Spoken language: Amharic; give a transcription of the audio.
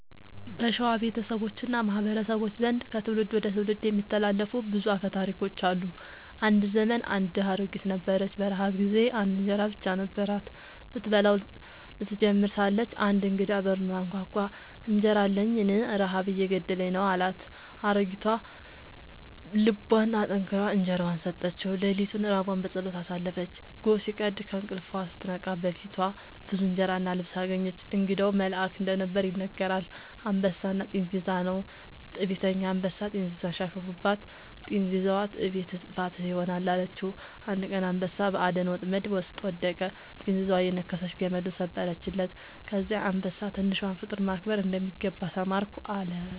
በሸዋ ቤተሰቦች እና ማህበረሰቦች ዘንድ ከትውልድ ወደ ትውልድ የሚተላለፉ ብዙ አፈ ታሪኮች አሉ። አንድ ዘመን አንድ ድሃ አሮጊት ነበረች። በረሃብ ጊዜ አንድ እንጀራ ብቻ ነበራት። ስትበላው ልትጀምር ሳለች አንድ እንግዳ በሩን አንኳኳ፤ «እንጀራ አለኝን? ረሃብ እየገደለኝ ነው» አላት። አሮጊቷ ልቧን አጠንክራ እንጀራዋን ሰጠችው። ሌሊቱን ራቧን በጸሎት አሳለፈች። ጎህ ሲቀድ ከእንቅልፏ ስትነቃ በፊቷ ብዙ እንጀራ እና ልብስ አገኘች። እንግዳው መልአክ እንደነበር ይነገራል። «አንበሳና ጥንዚዛ» ነው። ትዕቢተኛ አንበሳ ጥንዚዛን ሲያሾፍባት፣ ጥንዚዛዋ «ትዕቢትህ ጥፋትህ ይሆናል» አለችው። አንድ ቀን አንበሳ በአደን ወጥመድ ውስጥ ወደቀ፤ ጥንዚዛዋ እየነከሰች ገመዱን ሰበረችለት። ከዚያ አንበሳ «ትንሿን ፍጡር ማክበር እንደሚገባ ተማርኩ» አለ